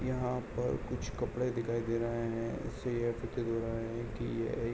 यहाँ पर कुछ कपड़े दिखाई दे रहे है जिससे यह प्रतीत हो रहा है कि ये एक --